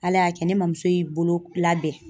Ala y'a kɛ ne mɔmuso y'i bolo labɛn.